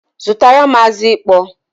Zutaram azụ ịkpọ!